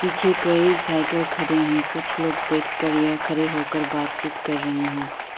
पीछे कई साइकिल खड़े हैं कुछ लोग बैठ कर या खड़े होकर बात चित कर रहे हैं।